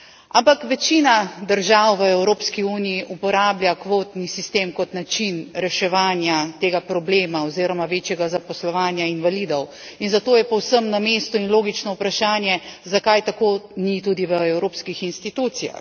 Ampak večina držav v Evropski uniji uporablja kvotni sistem kot način reševanja tega problema oziroma večjega zaposlovanja invalidov, in zato je povsem na mestu in logično vprašanje, zakaj ni tako tudi v evropskih institucijah.